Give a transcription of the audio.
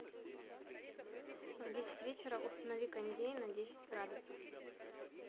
в десять вечера установи кондей на десять градусов